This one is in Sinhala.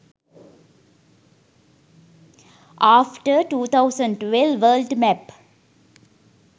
after 2012 world map